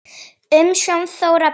Umsjón: Þóra Björg.